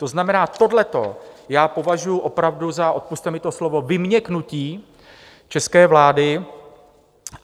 To znamená, tohleto já považuji opravdu za - odpusťte mi to slovo - vyměknutí české vlády.